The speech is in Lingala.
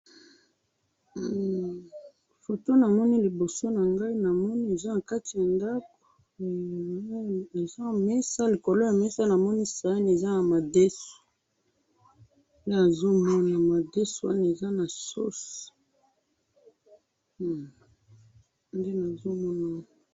Photo namoni liboso na ngai namoni eza na kati ya ndako eza mesa ,likolo ya mesa namoni saani eza na madesu, nde nazo mona ,madesu wana eza na sauce nde nazo mona